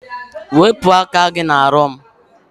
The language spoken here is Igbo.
Wepụ aka gị n'ahụ m!